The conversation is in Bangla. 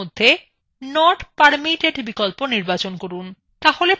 চেঞ্জেস এর মধ্যে not permitted বিকল্প নির্বাচন করুন